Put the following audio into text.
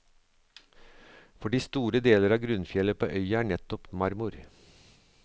Fordi store deler av grunnfjellet på øya er nettopp marmor.